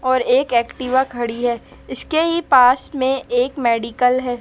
और एक एक्टिवा खड़ी है इसके ही पास में एक मेडिकल है।